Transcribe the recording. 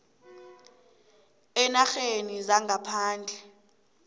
eenarheni zangaphandle